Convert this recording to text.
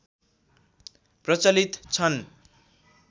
प्रचलित छन्